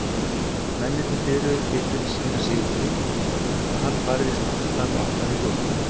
Mennirnir hliðruðu til fyrir síra Sigurði og hann færðist aftar og aftar í röðina.